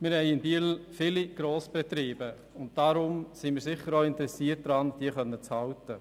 Wir haben in Biel viele Grossbetriebe und sind deshalb daran interessiert, diese bei uns zu halten.